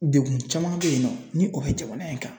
Degun caman bɛ yen nɔ ni o bɛ jamana in kan